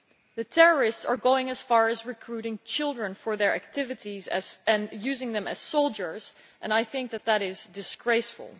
The terrorists are going as far as recruiting children for their activities and using them as soldiers, and I think that that is disgraceful.